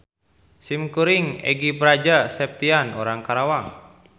Simkuring Egi Praja Septian urang Karawang.